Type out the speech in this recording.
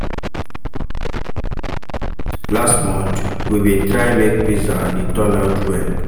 Last month, we bin try make pizza and e turn out well.